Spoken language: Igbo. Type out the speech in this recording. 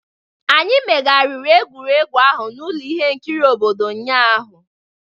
Anyị megharịrị egwuregwu ahụ n'ụlọ ihe nkiri obodo ụnyahụ.